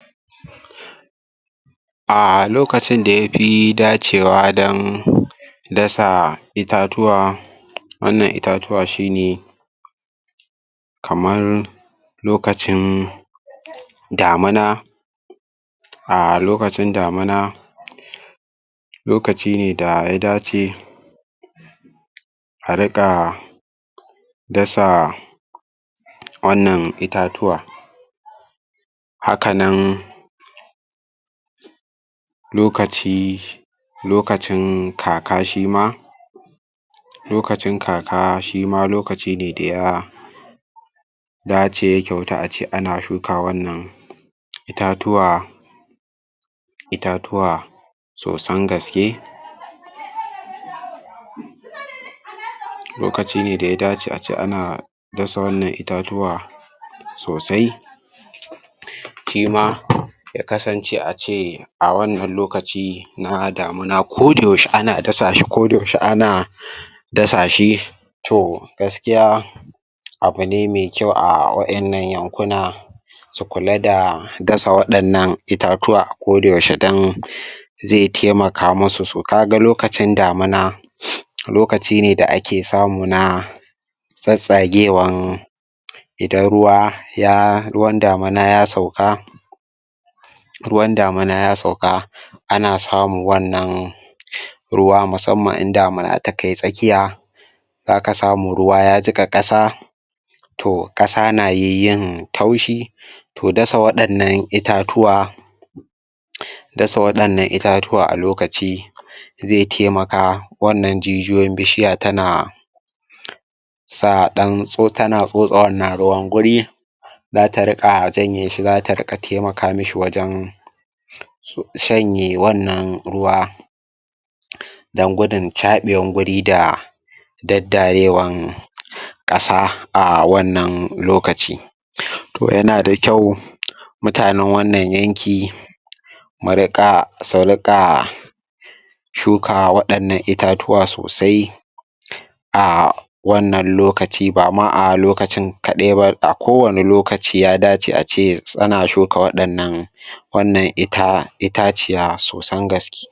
Ah lokacin da yafi dacewa dan dasa itatuwa wannan itatuwa shi ne kamar lokacin damuna a lokacin damuna lokaci ne da ya dace a riƙa dasa wannan itatuwa haka nan lokaci lokacin kaka shima lokacin kaka, shima lokaci ne da ya dace ya kyautu a ce ana shuka wannan itatuwa itatuwa sosan gaske lokaci ne da ya dace a ce ana dasa wannan itatuwa sosai shima ya kasance a ce a wannan lokaci na damuna koda yaushe ana dasa shi koda yaushe ana um dasa shi toh gaskiya abune mai kyau a wa'innan yankuna su kula da dasa waɗannan itatuwa a koda yaushe dan um zai taimaka musu, so kaga lokacin damuna um lokaci ne da ake samu na tsatstsagewan idan ruwa ya, ruwan damuna ya sauka ruwan damuna ya sauka ana samu wannan um ruwa musamman in damuna takai tsakiya zaka samu ruwa ya jiƙa ƙasa toh ƙasa na yiy yin taushi toh dasa waɗannan itatuwa um dasa waɗannan itatuwa a lokaci zai taimaka wannan jijiyoyin bishiya tana um sa ɗan tso tana tsotse wannan ruwan guri zata riƙa janye shi zata riƙa taimaka mishi wajan su shanye wannan ruwa um dan gudun caɓewan guri da daddarewan um ƙasa a wannan lokaci um toh yana da kyau um mutanen wannan yanki mu riƙa su riƙa shuka waɗannan itatuwa sosai um a wannan lokaci bama a lokacin kaɗai ba, a ko wane lokaci ya dace a ce ana shuka waɗannan um wannan ita itaciya sosan gaske.